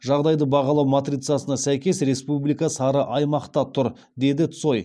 жағдайды бағалау матрицасына сәйкес республика сары аймақта тұр деді цой